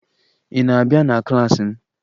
Ị na-abịa na klaasị m?